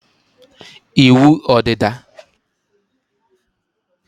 ịwụ ọdịda